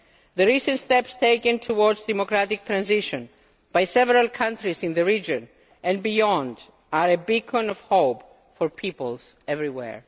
The recent steps taken towards democratic transition by several countries in the region and beyond are a beacon of hope for peoples everywhere.